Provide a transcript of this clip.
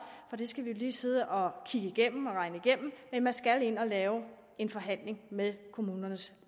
for det skal vi jo lige sidde og kigge igennem og regne igennem men man skal ind at lave en forhandling med kommunernes